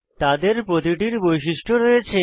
তাদের প্রতিটির বৈশিষ্ট্য রয়েছে